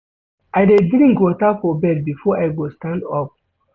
I dey drink water for bed before I go stand up.